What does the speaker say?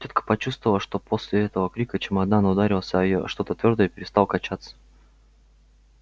тётка почувствовала что после этого крика чемодан ударился о её что-то твёрдое и перестал качаться